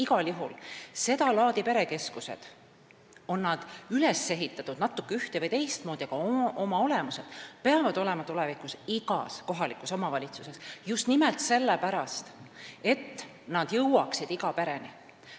Igal juhul seda laadi perekeskused, olgu nad üles ehitatud natuke ühte- või teistmoodi, peavad olema tulevikus igas kohalikus omavalitsuses, just nimelt sellepärast, et nad jõuaksid iga pereni.